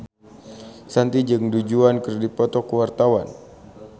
Shanti jeung Du Juan keur dipoto ku wartawan